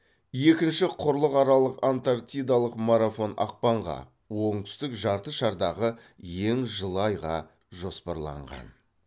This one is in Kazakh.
екінші құрлықаралық антарктидалық марафон ақпанға оңтүстік жарты шардағы ең жылы айға жоспарланған